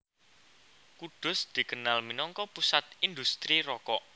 Kudus dikenal minangka pusat indhustri rokok